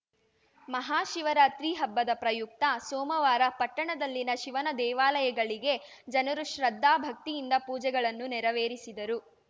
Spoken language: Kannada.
ಮಹಾಶಿವರಾತ್ರಿ ಹಬ್ಬದ ಪ್ರಯುಕ್ತ ಸೋಮವಾರ ಪಟ್ಟಣದಲ್ಲಿನ ಶಿವನ ದೇವಾಲಯಗಳಿಗೆ ಜನರು ಶ್ರದ್ಧಾ ಭಕ್ತಿಯಿಂದ ಪೂಜೆಗಳನ್ನು ನೆರವೇರಿಸಿದರು